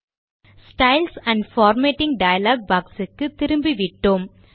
styles and formatting dialogue boxக்கு திரும்பிவிட்டோம்